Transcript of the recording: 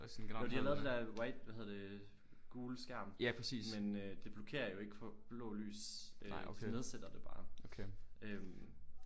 Nåh de har lavet det der white hvad hedder det gule skærm med øh det blokerer jo ikke for blå lys øh det nedsætter det bare øh